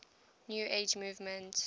new age movement